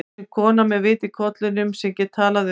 Og sem kona með vit í kollinum, sem get talað um